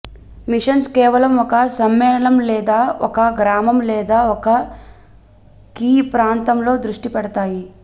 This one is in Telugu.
మిషన్స్ కేవలం ఒక సమ్మేళనం లేదా ఒక గ్రామం లేదా ఒక కీ ప్రాంతంలో దృష్టి పెడతాయి